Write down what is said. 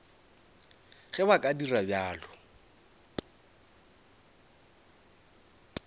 ge ba ka dira bjalo